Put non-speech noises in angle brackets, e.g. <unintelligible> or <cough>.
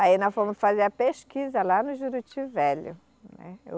Aí nós fomos fazer a pesquisa lá no Juruti Velho. né <unintelligible>